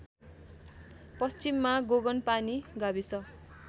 पश्चिममा गोगनपानी गाविस